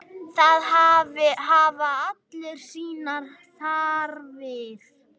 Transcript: Það hafa allir sínar þarfir.